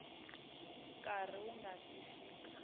nkarhi wu nga si fika